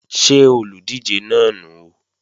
Ṣé olùdíje náà nùu?